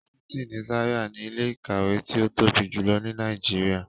Yunifasiti ni Zaria ni ile-ikawe ti o tobi julọ ni Nàìjíríà